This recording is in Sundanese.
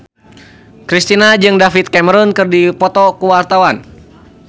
Kristina jeung David Cameron keur dipoto ku wartawan